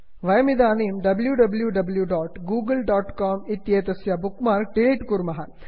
वयमिदानीं wwwgooglecom W W W dot Google dot com इत्येतस्य bookmark delete कुर्मः